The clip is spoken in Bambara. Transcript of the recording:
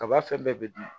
Kaba fɛn bɛɛ bɛ dun